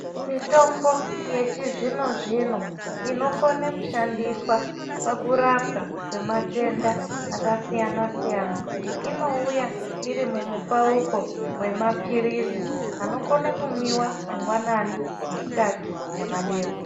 Mitombo yechizvino zvino inokone kushandiswaa pakurapwaa kwematendaa akasiyana siyana inouyaa iri mumupauko wemapirizi anokone kunwiwaa manngwanani, masikati nemadeekoni.